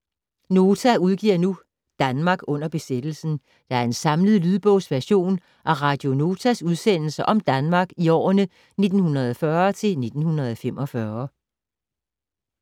Nota udgiver nu "Danmark under besættelsen", der er en samlet lydbogsversion af Radio Notas udsendelser om Danmark i årene 1940-1945.